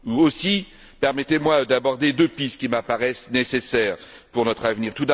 Aussi, permettez moi d'aborder deux pistes qui m'apparaissent nécessaires pour notre avenir.